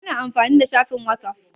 Ana amfani da shafin whatsapp.